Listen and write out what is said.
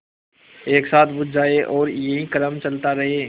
एक साथ बुझ जाएँ और यही क्रम चलता रहे